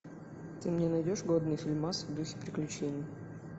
ты мне найдешь годный фильмас в духе приключений